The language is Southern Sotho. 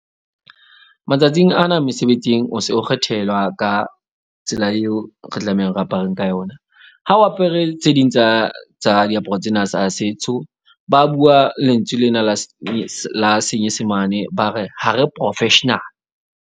Matsatsing ana mosebetsing o se o kgethelwa ka tsela eo re tlamehang re apareng ka yona. Ha o apere tse ding tsa diaparo tsena tsa setso. Ba bua lentswe lena la la senyesemane ba re ha re professional.